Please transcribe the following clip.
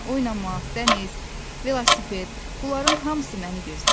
Oynamaq, dəniz, velosiped, bunların hamısı məni gözləyir.